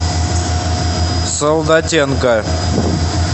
солдатенко